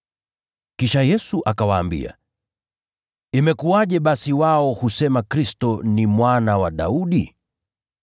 Kisha Yesu akawaambia, “Imekuwaje basi wao husema Kristo ni Mwana wa Daudi?